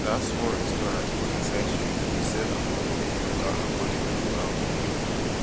dat small restaurant for inside street dey sell affordable local affordable local food